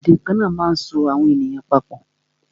Èdè kana máa ń so àwọn èèyàn pa pọ̀